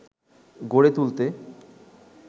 গড়ে তুলতে